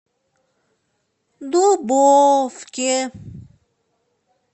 дубовке